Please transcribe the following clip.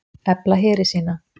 Efla heri sína